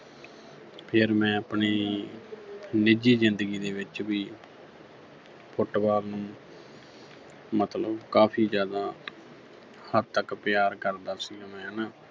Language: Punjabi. ਫਿਰ ਮੈਂ ਆਪਣੀ ਨਿੱਜੀ ਜ਼ਿੰਦਗੀ ਦੇ ਵਿੱਚ ਵੀ Football ਨੂੰ ਮਤਲਬ ਕਾਫੀ ਜ਼ਿਆਦਾ ਹੱਦ ਤੱਕ ਪਿਆਰ ਕਰਦਾ ਸੀਗਾ ਮੈਂ ਹੈਨਾ